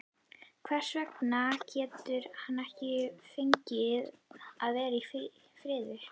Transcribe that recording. Hvers vegna getum við ekki fengið að vera í friði?